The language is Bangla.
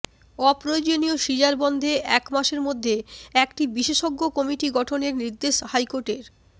অপ্রয়োজনীয় সিজার বন্ধে এক মাসের মধ্যে একটি বিশেষজ্ঞ কমিটি গঠনের নির্দেশ হাইকোর্টের